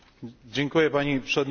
Pani Przewodnicząca!